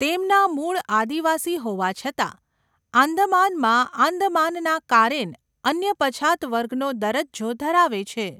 તેમના મૂળ આદિવાસી હોવા છતાં, આંદામાનમાં આંદામાનના કારેન અન્ય પછાત વર્ગનો દરજ્જો ધરાવે છે.